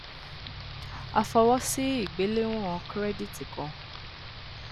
a fọwọsi igbelewọn kirẹditi kan